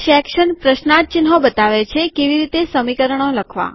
section પ્રશ્નાર્થ ચિન્હ બતાવે છે કેવી રીતે સમીકરણો લખવા